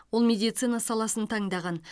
ол медицина саласын таңдаған